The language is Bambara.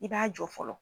I b'a jɔ fɔlɔ